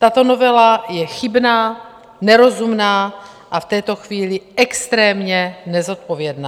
Tato novela je chybná, nerozumná a v této chvíli extrémně nezodpovědná.